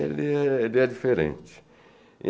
Ele é diferente.